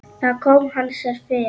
Þar kom hann sér fyrir.